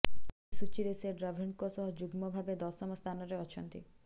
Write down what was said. ଏହି ସୂଚୀରେ ସେ ଡ୍ରାଭିଡଙ୍କ ସହ ଯୁଗ୍ମ ଭାବେ ଦଶମ ସ୍ଥାନରେ ଅଛନ୍ତି